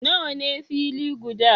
Nawa ne fili guda?